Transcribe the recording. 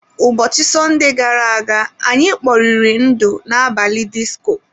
Ubọchị Sọnde gara aga, anyị kporiri ndu n'abalị disko.